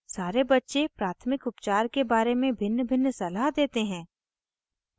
सारे बच्चे प्राथमिक उपचार के बारे में भिन्नभिन्न सलाह देते हैं